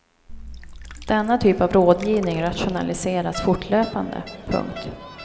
Denna typ av rådgivning rationaliseras fortlöpande. punkt